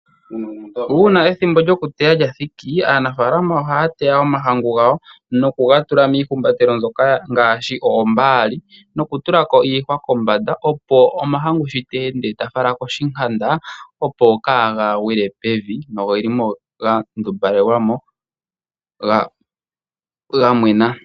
Uuna ethimbo lyokuteya lya thiki aanafalama ohaya teya omahangu gawo nokuga tula niihumbatelo mbyoka ngaashi oombaali nokutula ko iihwa kombanda opo omahangu sho ta ende ta fala koshinkanda, opo kaa ga gwile pevi, nogeli mo ga ndumbalelwa mo ga mwena.